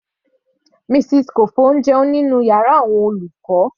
Mrs Kofo ń jẹun nínú yàrá àwọn olùkọ́.